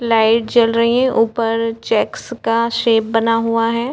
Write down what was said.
Light जल रही है ऊपर चेक्स का शेप बना हुआ है।